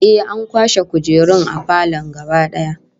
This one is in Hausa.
Ehh, an kwashe kujerun falon gaba daya